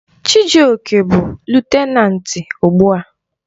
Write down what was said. Chijioke bụ lutenanti ugbu a.